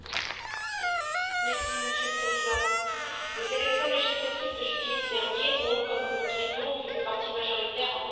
Monsieur le Président, les élections législatives de juillet dernier ont, comme nous le craignions, vu le parti majoritaire remporter l'ensemble des sièges.